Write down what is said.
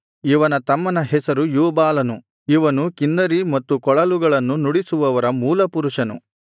ಇವನ ತಮ್ಮನ ಹೆಸರು ಯೂಬಾಲನು ಇವನು ಕಿನ್ನರಿ ಮತ್ತು ಕೊಳಲುಗಳನ್ನು ನುಡಿಸುವವರ ಮೂಲ ಪುರುಷನು